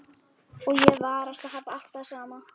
Og ég varast að hafa alltaf það sama.